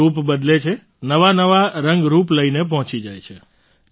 તે રૂપ બદલે છેનવાનવા રંગરૂપ લઈને પહોંચી જાય છે